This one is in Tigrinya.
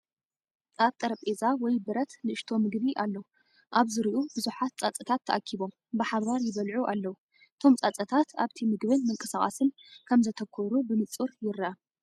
ኣብ ጠረጴዛ ወይ ብረት ንእሽቶ ምግቢ ኣሎ። ኣብ ዙርያኡ ብዙሓት ፃፀታት ተኣኪቦም፡ ብሓባር ይበለዑ ኣለው። እቶም ፃፀታት ኣብቲ ምግብን ምንቅስቓስን ከም ዘተኮሩ ብንጹር ይርአ።